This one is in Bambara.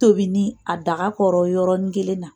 Tobi ni a daga kɔrɔ yɔrɔnin kelen na